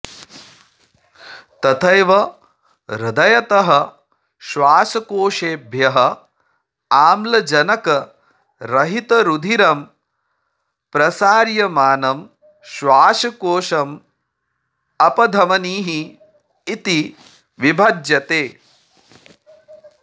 तथैव हृदयतः श्वासकोशेभ्यः आम्लजनकरहितरुधिरं प्रसार्यमानं श्वासकोशम् अपधमनिः इति विभज्यते